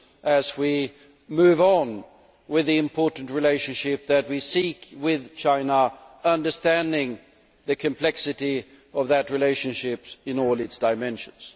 as we move on with the important relationship that we seek with China, understanding the complexity of that relationship in all its dimensions.